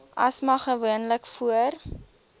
asma gewoonlik voor